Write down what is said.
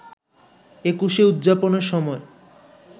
একুশে উদযাপনের সময়